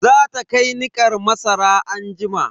Za ta kai nikar masara anjima.